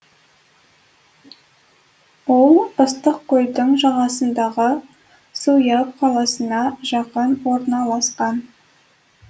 ол ыстықкөлдің жағасындағы суяб қаласына жақын орналасқан